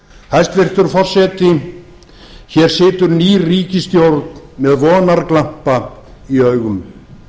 hæstvirtur forseti hér situr ný ríkisstjórn með vonarglampa í augum